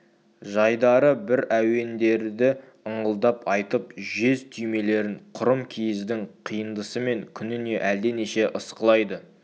жайдары бір әуендерді ыңылдап айтып жез түймелерін құрым киіздің қиындысымен күніне әлденеше ысқылайды